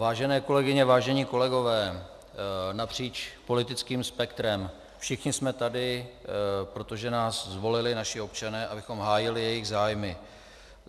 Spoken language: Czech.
Vážené kolegyně, vážení kolegové napříč politickým spektrem, všichni jsme tady, protože nás zvolili naši občané, abychom hájili jejich zájmy.